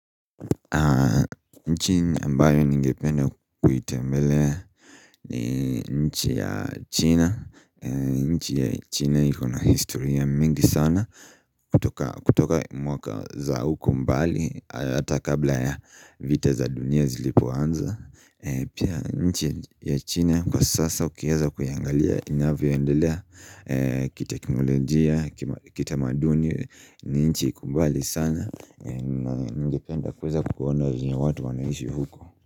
Nchi ambayo ningependa kuitembelea ni nchi ya China nchi ya China iko na historia mingi sana kutoka mwaka za huko mbali hata kabla ya vita za dunia zilipoanza Pia nchi ya China kwa sasa ukiweza kuiangalia inavyoendelea kiteknolojia, kitamaduni ni nchi iko mbali sana Ningependa kuweza kuona venye watu wanaishi huko.